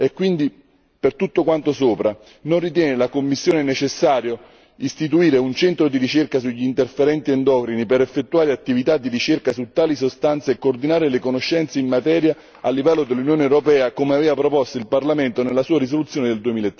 Quindi, per tutto quanto sopra, non ritiene la Commissione necessario istituire un centro di ricerca sugli interferenti endocrini per effettuare attività di ricerca su tali sostanze e coordinare le conoscenze in materia a livello dell'Unione europea come aveva proposto il Parlamento nella sua risoluzione del